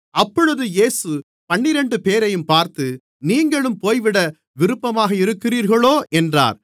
அப்பொழுது இயேசு பன்னிரண்டுபேரையும் பார்த்து நீங்களும் போய்விட விருப்பமாக இருக்கிறீர்களோ என்றார்